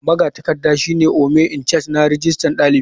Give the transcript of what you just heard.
Magatakarda shine ome icharge na rijistar dalibi.